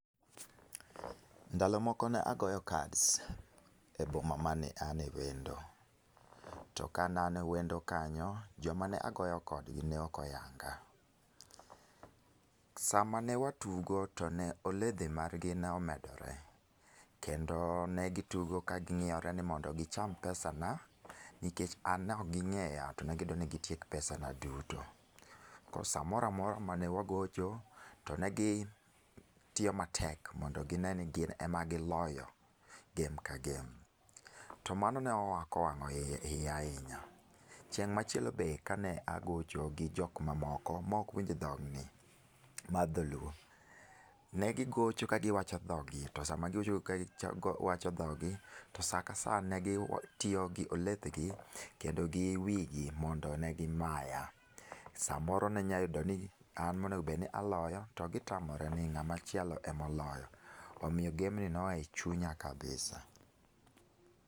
Ndalo moko ne agoyo cards e boma mane ane wendo. To kane an wendo kanyo, joma ne agoyo kodgi neok oyanga. Sama ne watugo to ne oledhi margi omedore, kendo negitugo kaging'iyore ni mondo gicham pesa na, nikech an neok ging'eya to ne gidwani gitiek pesa na duto. Koro samoramora mane wagocho, to ne gitiyo matek mondo gine ni gin ema giloyo game ka game, to mano neok owang'oiya ahinya. Chieng' machielo be kane agocho gi jok mamoko mok winj dhogni mar Dholuo, ne gigocho ka giwacho dhog gi. To sama gigocho ka giwacho dhog gi, to sa ka sa ne gitiyo gi olethgi kendo gi wigi mondo ne gimaya. Samoro ninyayudo ni an monego obedni aloyo to gitamore ni ng'amachielo emoloyo. Omiyo game ni noa e chunya kabisa.